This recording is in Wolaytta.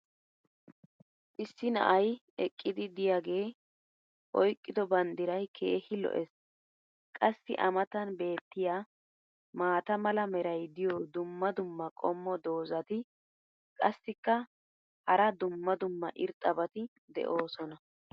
issi na"ay eqqidi diyaagee oyqqido bandiray keehi lo'ees. qassi a matan beetiya maata mala meray diyo dumma dumma qommo dozzati qassikka hara dumma dumma irxxabati doosona.